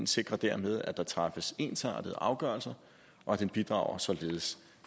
sikrer dermed at der træffes ensartede afgørelser og den bidrager således